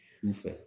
Su fɛ